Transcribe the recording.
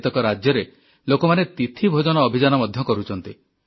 କେତେ ରାଜ୍ୟରେ ଲୋକମାନେ ତିଥି ଭୋଜନ ଅଭିଯାନ ମଧ୍ୟ କରୁଛନ୍ତି